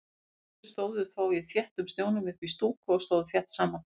Áhorfendur stóðu þó í þéttum snjónum uppí stúku og stóðu þétt saman.